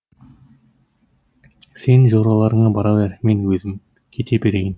сен жораларыңа бара бер мен өзім кете берейін